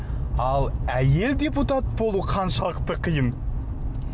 ал әйел депутат болу қаншалықты қиын